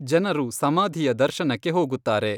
ಜನರು ಸಮಾಧಿಯ ದರ್ಶನಕ್ಕೆ ಹೋಗುತ್ತಾರೆ.